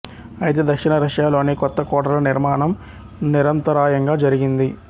అయితే దక్షిణ రష్యాలోని కొత్త కోటల నిర్మాణం నిరంతరాయంగా జరిగింది